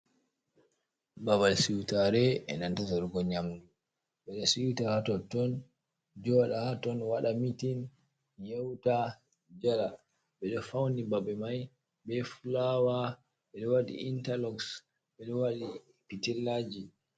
Babal siutare enanta sorugo nyamdu ɓeɗo siuta hatotton joɗa ton waɗa mitin ha totton yeuta jala ɓeɗo fauni babe mai be fulaawa ɓeɗo waɗi intalox ɓeɗo waɗi pitillaji.